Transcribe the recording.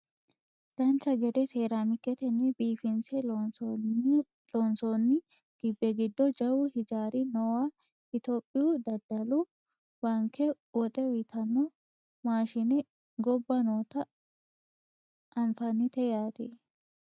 dancha gede seeraamiketenni biifinse loonsoonnio gibbe giddo jawu hijaari noowa itiyophiyu dadda; lu baanke woxe uyiitanno maashine gobba noota anfannite yaate